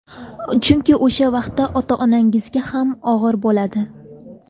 Chunki o‘sha vaqtda ota-onangizga ham og‘ir bo‘ladi.